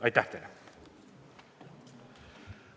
Aitäh teile!